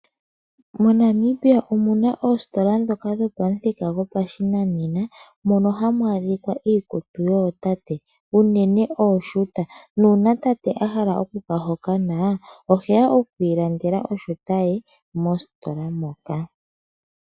MoNamibia omu na oositola ndhoka dhopamuthika gopashinanena mono hamu adhika iikutu yootate unene ooshuta nuuna tate a hala okuka hokana oheya okwiilandela oshuta ye mositola moka.